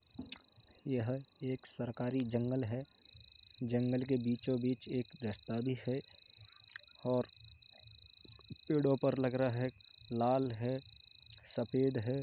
यह एक सरकारी जंगल है और जंगल के बीचों-बीच एक रास्ता भी है और पेड़ों पर लग रहा है लाल है सफेद है।